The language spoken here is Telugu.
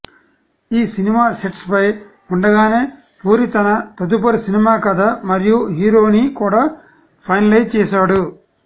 ఈ సినిమా సెట్స్ పై ఉండగానే పూరి తన తదుపరి సినిమా కథ మరియు హీరోని కూడా ఫైనలైజ్ చేసాడు